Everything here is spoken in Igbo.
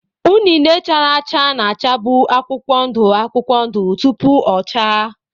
unine chara acha na-achavu akwụkwọ ndụ akwụkwọ ndụ tupu o chaa.